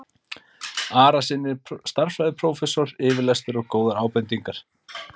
Arasyni stærðfræðiprófessor yfirlestur og góðar ábendingar.